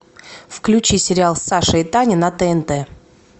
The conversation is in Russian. включи сериал саша и таня на тнт